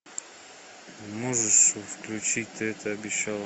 можешь включить ты это обещала